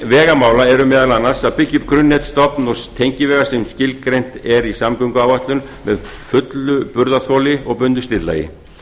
vegamála er meðal annars að byggja upp grunnnet stofn og tengivega sem skilgreint er í samgönguáætlun með fullu burðarþoli og bundnu slitlagi